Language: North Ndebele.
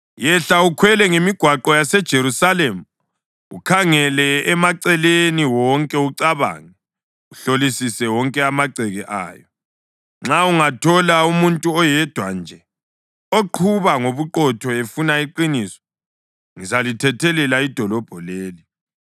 “Yehla ukhwele ngemigwaqo yaseJerusalema, ukhangele emaceleni wonke, ucabange, uhlolisise wonke amagceke ayo. Nxa ungathola umuntu oyedwa nje oqhuba ngobuqotho efuna iqiniso, ngizalithethelela idolobho leli.